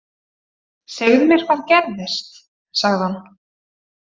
Segðu mér hvað gerðist, sagði hún.